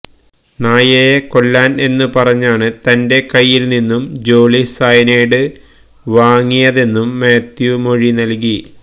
നായയെ കൊല്ലാന് എന്ന് പറഞ്ഞാണ് തന്റെ കൈയ്യില് നിന്നും ജോളി സയനൈഡ് വാങ്ങിയതെന്നും മാത്യു മൊഴി നല്കി